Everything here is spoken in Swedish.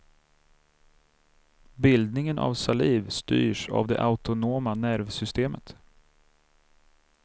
Bildningen av saliv styrs av det autonoma nervsystemet.